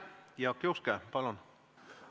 Jaak Juske, palun!